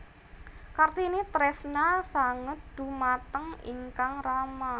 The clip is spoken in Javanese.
Kartini tresna sanget dhumateng ingkang rama